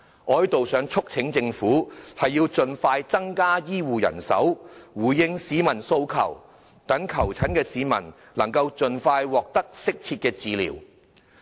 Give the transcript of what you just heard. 我希望在此促請政府盡快增加醫護人手，回應市民訴求，讓求診市民能夠盡快獲得適切的治療。